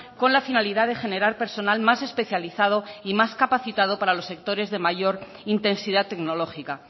con la finalidad de generar personal más especializado y más capacitado para los sectores de mayor intensidad tecnológica